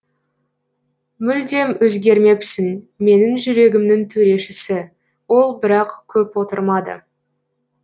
мүлдеп өзгермепсің менің жүрегімнің төрешісі ол бірақ көп отырмады